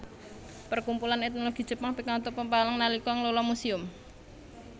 Perkumpulan Etnologi Jepang pikantuk pepalang nalika ngelola muséum